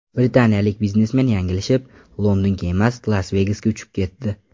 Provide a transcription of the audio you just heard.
Britaniyalik biznesmen yanglishib, Londonga emas, Las-Vegasga uchib ketdi.